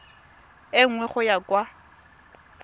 e nngwe go ya kwa